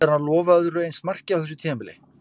Ætlar hann að lofa öðru eins marki á þessu tímabili?